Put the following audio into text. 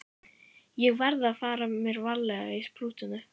Ég verð að fara mér varlega í sprúttinu.